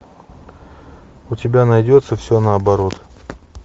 у тебя найдется все наоборот